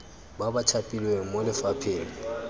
ba ba thapilweng mo lefapheng